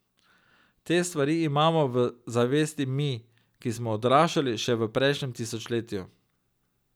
Te stvari imamo v zavesti mi, ki smo odraščali še v prejšnjem tisočletju.